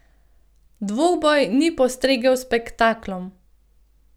Dvoboj ni postregel s spektaklom.